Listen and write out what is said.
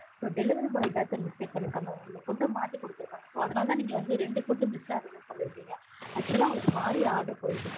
so delivery boy தான் sir mistake பண்ணியிருக்காங்க. உங்களுக்கு food மாத்தி கொடுத்துருக்காங்க so அதனாலதான் நீங்க வந்து ரெண்டு food miss ஆகுதுனு சொல்லிருக்கீங்க. actual ஆ உங்களுக்கு மாறி order போயிருக்கு